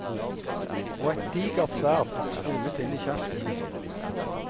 Og et digert sverd er tvunget inn i kjeften.